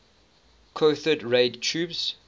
cathode ray tubes